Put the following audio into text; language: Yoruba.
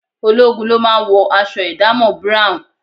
Ológun ló máa ń wọ aṣọ ìdámọ̀ búráùn